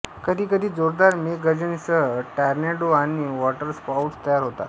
कधीकधी जोरदार मेघगर्जनेसह टॉर्नेडो आणि वॉटरस्पाउट्स तयार होतात